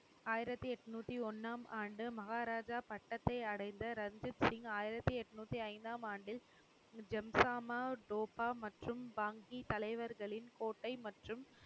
ஆயிரத்தி எட்நூத்தி ஒண்ணாம் ஆண்டு மகாராஜா பட்டத்தை அடைந்த ரன்தீப் சிங் ஆயிரத்தி எட்நூத்தி ஐந்தாம் ஆண்டில் ஜம்ஜாமா தோபா மற்றும் பாங்கி தலைவர்களின் கோட்டை மற்றும்